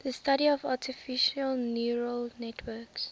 the study of artificial neural networks